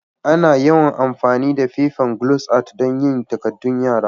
Ana yawan amfani da fefan glos art dan yin takadun yara.